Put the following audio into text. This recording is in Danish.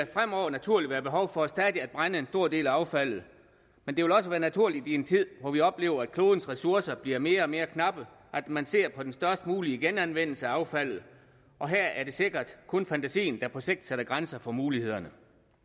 fremover naturligt være behov for stadig at brænde en stor del af affaldet men det vil også være naturligt i en tid hvor vi oplever at klodens ressourcer bliver mere og mere knappe at man ser på den størst mulige genanvendelse af affaldet og her er det sikkert kun fantasien der på sigt sætter grænser for mulighederne